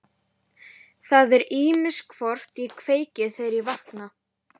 Það er ýmist hvort ég kveiki, þegar ég vakna.